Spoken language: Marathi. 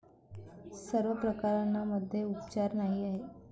सर्व प्रकरणांमध्ये, उपचार नाही आहे.